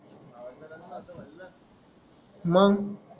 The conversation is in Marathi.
मंग